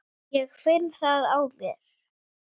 Ég finn það á mér.